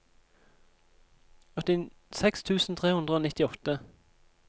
åttiseks tusen tre hundre og nittiåtte